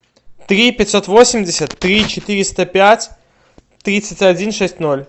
три пятьсот восемьдесят три четыреста пять тридцать один шесть ноль